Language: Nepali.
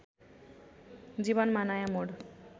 जीवनमा नयाँ मोड